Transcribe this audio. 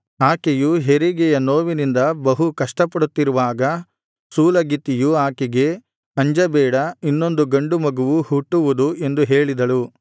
ಆಕೆಯು ಹೆರಿಗೆಯ ನೋವಿನಿಂದ ಬಹು ಕಷ್ಟಪಡುತ್ತಿರುವಾಗ ಸೂಲಗಿತ್ತಿಯು ಆಕೆಗೆ ಅಂಜಬೇಡ ಇನ್ನೊಂದು ಗಂಡು ಮಗುವು ಹುಟ್ಟುವುದು ಎಂದು ಹೇಳಿದಳು